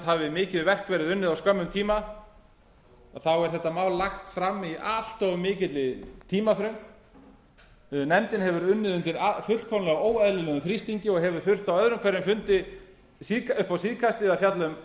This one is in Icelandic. hafi mikið verk verið unnið á skömmum tíma þá er þetta mál lagt fram í allt of mikilli tímaþröng nefndin hefur unnið undir óeðlilega miklum þrýstingi og hefur þurft á öðrum hverju fundi upp á síðkastið að fjalla um